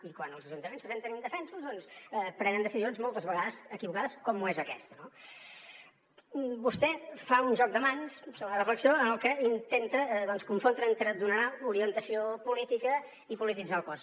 i quan els ajuntaments se senten indefensos doncs prenen decisions moltes vegades equivocades com ho és aquesta no vostè fa un joc de mans segona reflexió en el que intenta doncs confondre entre donar orientació política i polititzar el cos